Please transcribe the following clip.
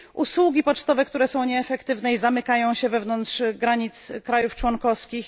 usługi pocztowe, które są nieefektywne i zamykają się wewnątrz granic państw członkowskich.